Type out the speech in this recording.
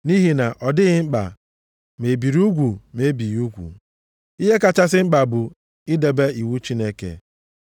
Nʼihi na ọ dịghị mkpa ma e biri gị ugwu ma e bighị gị ugwu. Ihe kachasị mkpa bụ idebe iwu Chineke.